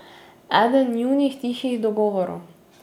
Eden njunih tihih dogovorov.